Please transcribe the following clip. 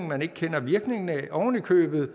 man ikke kender virkningen af oven i købet